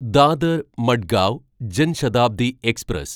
Dadar Madgaon Jan Shatabdi express